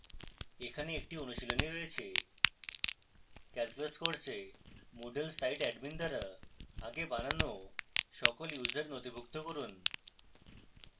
এখানে একটি অনুশীলনী রয়েছে